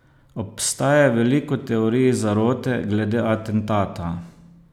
Obstaja veliko teorij zarote glede atentata.